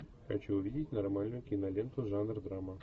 хочу увидеть нормальную киноленту жанр драма